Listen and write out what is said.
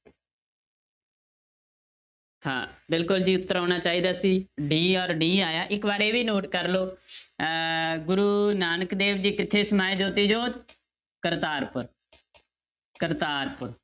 ਹਾਂ ਬਿਲਕੁਲ ਜੀ ਉੱਤਰ ਆਉਣਾ ਚਾਹੀਦਾ ਸੀ d ਔਰ d ਆਇਆ ਹੈ, ਇੱਕ ਵਾਰ ਇਹ ਵੀ note ਕਰ ਲਓ ਅਹ ਗੁਰੂ ਨਾਨਕ ਦੇਵ ਜੀ ਕਿੱਥੇ ਸਮਾਏ ਜੋਤੀ ਜੋਤ ਕਰਤਾਰਪੁਰ ਕਰਤਾਰਪੁਰ